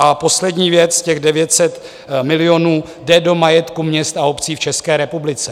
A poslední věc, těch 900 milionů jde do majetku měst a obcí v České republice.